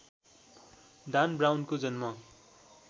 डान ब्राउनको जन्म